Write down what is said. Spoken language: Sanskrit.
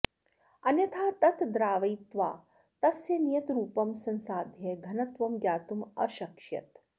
अन्यथा तत् द्रावयित्वा तस्य नियतरूपं संसाध्य घनत्वं ज्ञातुम् अशक्ष्यत्